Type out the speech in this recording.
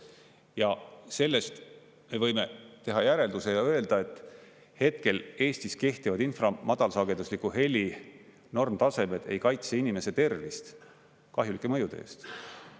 Ja sellest me võime teha järelduse ja öelda, et hetkel Eestis kehtivad infra- ja madalsagedusliku heli normtasemed ei kaitse inimese tervist kahjulike mõjude eest.